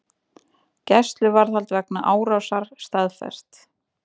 Gæsluvarðhald vegna árásar staðfest